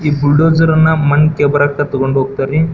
ಈ ಬುಲ್ಡೋಸರ್ ಅನ್ನ ಮಣ್ಣ್ ಕೆ ಬರಕ್ಕೆ ತೊಕೊಂಡ್ ಹೋಗತ್ತರಿ.